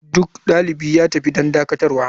Duk dalibi ya tafi don dakatarwa.